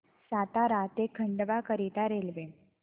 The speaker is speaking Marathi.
सातारा ते खंडवा करीता रेल्वे